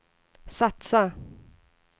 satsa